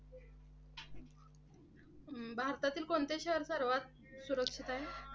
भारतातील कोणते शहर सर्वात सुरक्षित आहे?